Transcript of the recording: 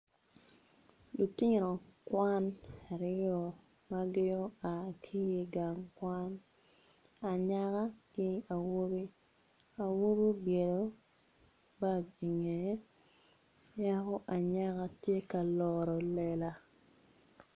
Lutino kwan aryo ma gin oa ki i gang kwan anena ki awobi awobi obyelo baga i ngeye ki yaka anyaka tye ka loro lela